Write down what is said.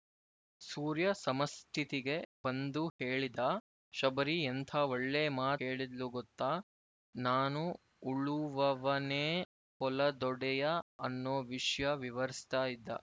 ಸೂರ್ಯ ಸಮಸ್ಥಿತಿಗೆ ಬಂದು ಹೇಳಿದ ಶಬರಿ ಎಂಥಾ ಒಳ್ಳೆ ಮಾತ್ ಹೇಳಿದ್ಲು ಗೊತ್ತಾ ನಾನು ಉಳುವವನೇ ಹೊಲದೊಡೆಯ ಅನ್ನೊ ವಿಷ್ಯ ವಿವರಿಸ್ತಾ ಇದ್ದೆ